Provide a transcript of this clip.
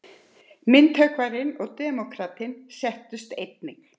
Myndhöggvarinn og demókratinn settust einnig.